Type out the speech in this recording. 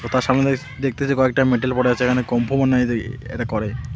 ও তার সামনে দেখ-দেখতেছি কয়েকটা মেডেল পড়ে আছে এখানে কুম্ফু মনে হয় এদের এরা করে .